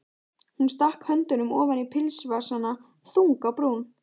Hún stakk höndunum ofan í pilsvasana, þung á brún.